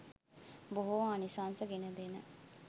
බොහෝ ආනිසංස ගෙනදෙන,